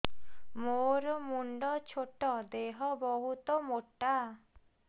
ମୋର ମୁଣ୍ଡ ଛୋଟ ଦେହ ବହୁତ ମୋଟା